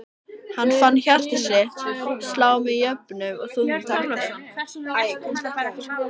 Hann fann hjarta sitt slá með jöfnum og þungum takti.